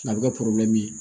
A bɛ kɛ